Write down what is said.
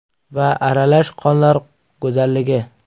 va Aralash qonlar go‘zalligi .